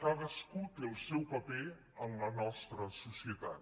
cadascú té el seu paper en la nostra societat